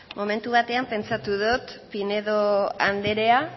momentu batean pentsatu dot pinedo andrea